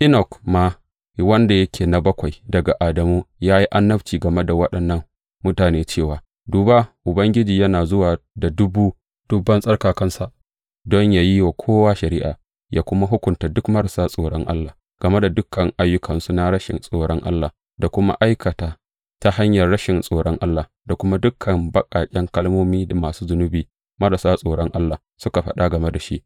Enok ma, wanda yake na bakwai daga Adamu, ya yi annabci game da waɗannan mutane cewa, Duba, Ubangiji yana zuwa da dubu dubban tsarkakansa don yă yi wa kowa shari’a, yă kuma hukunta duk marasa tsoron Allah game da dukan ayyukansu na rashin tsoron Allah da suka aikata ta hanyar rashin tsoron Allah, da kuma dukan baƙaƙen kalmomin da masu zunubi marasa tsoron Allah suka faɗa game da shi.